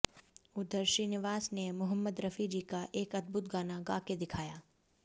उदर श्रीनीवास ने मुहाम्मद रफी जी का एक अदभूत गाना गाँ के दिखाया